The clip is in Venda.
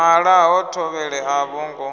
nala ha thovhele a vhongo